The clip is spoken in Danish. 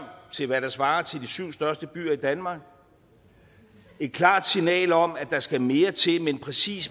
til hvad der svarer til de syv største byer i danmark et klart signal om at der skal mere til men præcis